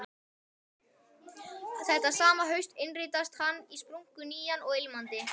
Þetta sama haust innritast hann í splunkunýjan og ilmandi